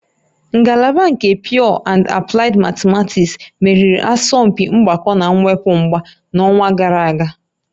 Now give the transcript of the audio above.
Ngalaba nke Pure and Applied Mathematics meriri asọmpi mgbakọ na mwepụ mba n'ọnwa gara aga